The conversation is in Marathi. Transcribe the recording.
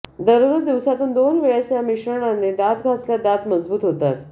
दररोज दिवसातून दोन वेळेस या मिश्रणाने दात घासल्यास दात मजबूत होतात